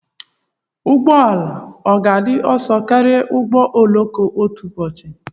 Ụgbọ ala ọ ga-adị ọsọ karịa ụgbọ oloko otu ụbọchị?